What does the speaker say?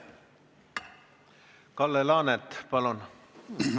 Kalle Laanet, palun!